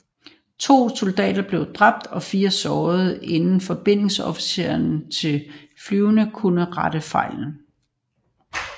To soldater blev dræbt og 4 såret inden forbindelsesofficererne til flyene kunne rette fejlen